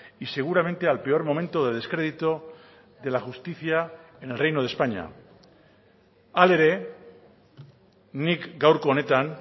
y seguramente al peor momento de descrédito de la justicia en el reino de españa hala ere nik gaurko honetan